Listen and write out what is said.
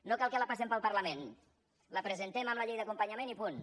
no cal que la passem pel parlament la presentem amb la llei d’acompanyament i punt